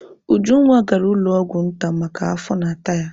Ujunwa gara ụlọ ọgwụ nta maka afọ na-ata ya.